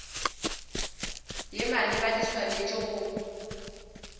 ye maleba di swanetše go